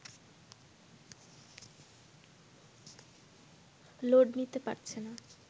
load নিতে পারছে না